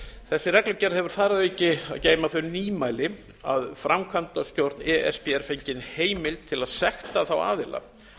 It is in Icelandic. þessi reglugerð hefur þar að auki að geyma þau nýmæli að framkvæmdastjórn e s b er fengin heimild til að sekta þá aðila